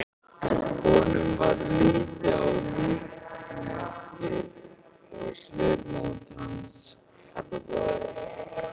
Honum varð litið á líkneskið og svipmót hans harðnaði.